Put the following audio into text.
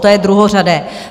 To je druhořadé.